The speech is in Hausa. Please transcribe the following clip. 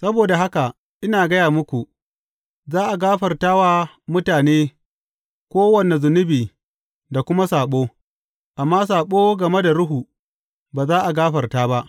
Saboda haka ina gaya muku, za a gafarta wa mutane kowane zunubi da kuma saɓo, amma saɓo game da Ruhu, ba za a gafarta ba.